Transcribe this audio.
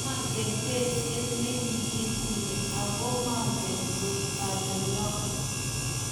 manget besiet ne kikituni, aku mangen ale ng'o